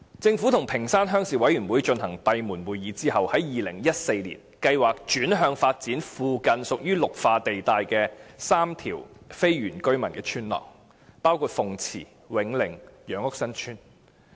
政府與屏山鄉鄉事委員會進行閉門會議後，於2014年計劃轉向發展附近屬於綠化地帶的3條非原居民村落，包括鳳池村、永寧村和楊屋新村。